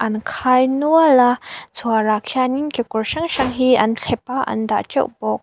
an khai nual a chhuar ah khianin kekawr hrang hrang hi an thlep a an dah teuh bawk.